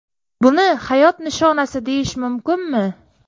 Buni hayot nishonasi deyish mumkinmi?.